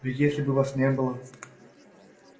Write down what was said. ведь если бы вас не было